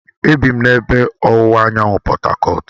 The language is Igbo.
E bi m n'ebe ọwụwa anyanwụ Portu.